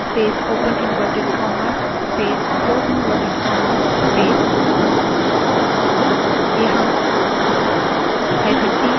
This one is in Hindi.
यहाँ –t delimiter के लिए है और quotes के बीच का space उसे दर्शाता है